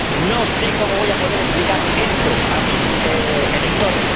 No sé cómo voy a poder explicar esto a mis electores.